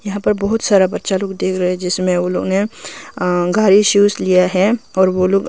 यहां पर बहुत सारा बच्चा लोग देख रहे हैं जिसमें उन्होंने अं घर ही शूज लिया है और वो लोग--